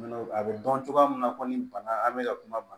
A bɛ dɔn cogoya min na ko ni bana an mɛ ka kuma